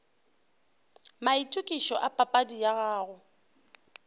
maitokišo a papadi ya gago